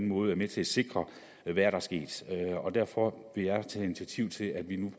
måde er med til at sikre hvad der er sket derfor vil jeg tage initiativ til at vi nu